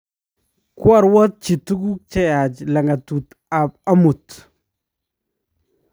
koaruotchi tuguk che yaach lagatukab amut